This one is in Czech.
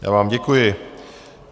Já vám děkuji.